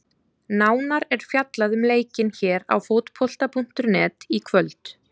Nánar er fjallað um leikinn hér á Fótbolta.net í kvöld.